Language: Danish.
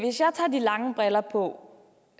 lange briller på